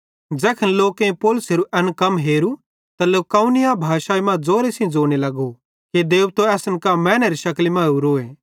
ज़ैखन लोकेईं पौलुसेरू एन कम हेरू त लुकाउनिया भाषाई मां ज़ोरे सेइं ज़ोने लगे कि देबतो असन कां मैनेरो शकली मां ओरोए